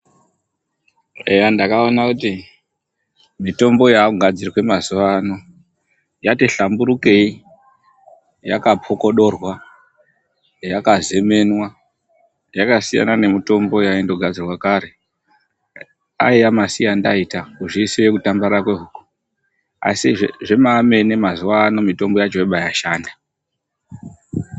Eya ndakaona kuti mitombo yaakugadzirwa mazuva ano yati hlamburukei, yakapokodokorwa, yakazemenwa, yakasiyana nemitombo yaindogadzirwa kare aiya masiya ndaita kuzvisiye kutambarara kwehuku asi zvemene mene mazuvaano mitombo yacho yobaashanda.